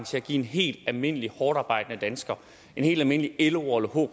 til at give en helt almindelig hårdtarbejdende dansker en helt almindelig loer